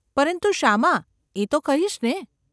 ‘પરંતુ શામાં, એ તો કહીશ ને?